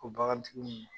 O bagantigiw